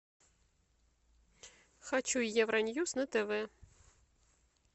хочу евроньюс на тв